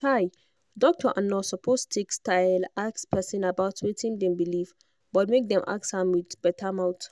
chai doctor and nurse suppose take style ask person about wetin dem believe but make dem ask am with better mouth.